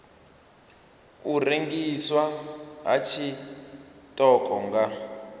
u rengiswa ha tshiṱoko nga